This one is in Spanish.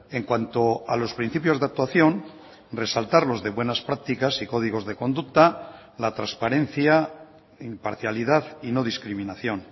en cuanto a los principios de actuación resaltar los de buenas prácticas y códigos de conducta la transparencia imparcialidad y no discriminación